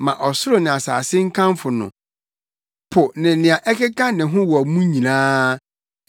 Ma ɔsoro ne asase nkamfo no, po ne nea ɛkeka ne ho wɔ mu nyinaa,